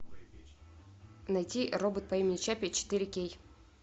найти робот по имени чаппи четыре кей